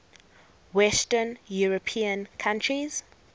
western european countries